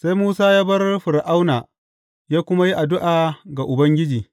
Sai Musa ya bar Fir’auna ya kuma yi addu’a ga Ubangiji.